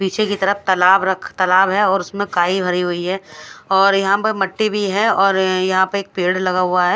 पीछे की तरफ ताला- तालाब है और उसमे काई भरी हुई है और यहाँ पे माट्टी भी है और यहा पे पेड़ लगा हुआ है।